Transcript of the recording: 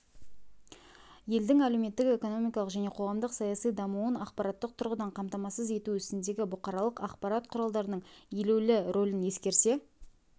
елдің әлеуметтік-экономикалық және қоғамдық-саяси дамуын ақпараттық тұрғыдан қамтамасыз ету ісіндегі бұқаралық ақпарат құралдарының елеулі рөлін ескере